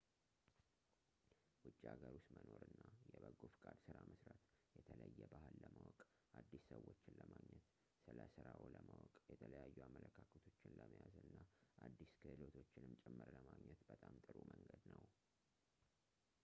ውጪ ሃገር ውስጥ መኖር እና የበጎ ፈቃድ ስራ መስራት የተለየ ባህል ለማወቅ አዲስ ሰዎችን ለማግኘት ስለራስዎ ለማወቅ የተለያዩ አመለካከቶችን ለመያዝ እና አዲስ ክህሎቶችንም ጭምር ለማግኘት በጣም ጥሩ መንገድ ነው